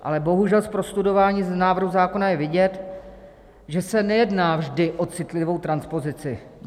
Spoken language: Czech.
Ale bohužel, po prostudování návrhu zákona je vidět, že se nejedná vždy o citlivou transpozici.